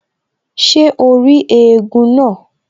Ṣé o rí éégún náà?